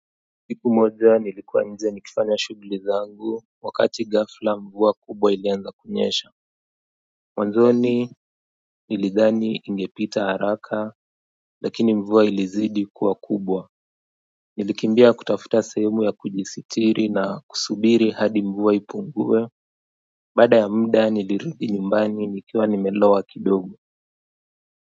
Siku moja nilikuwa nje nikifanya shuguli zangu wakati ghafla mvua kubwa ilianza kunyesha. Manzoni, nilidhani ingepita haraka siku moja, nilikuwa nje nikifanya shuguli zangu, wakati ghafla mvua kubwa ilianza kunyesha. Nilikimbia kutafuta sehemu yakujisitiri na kusubiri hadi mvua ipungue baada ya muda nilirudi nyumbani nikiwa nimelowa kidogo.